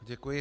Děkuji.